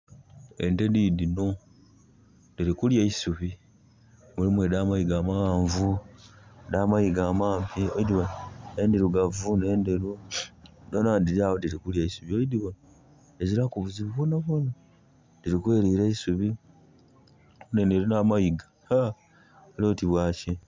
Ente didino dirikulya eisubi. Mulimu eda mayiga mawanvu eda mayiga amampi endirugavu nenderu doona diryawo diri kulya eisubi. Diziraku buzibu bwonabwona dirkwelira eisubi. Aye eno erina amayiga ha! Elioti bwaki!